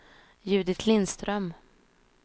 Judit Lindström